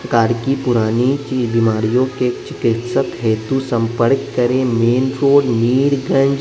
प्रकार की पुरानी चीज बीमारियों के चिकित्सक हेतु संपर्क करें मेन रोड मीरगंज।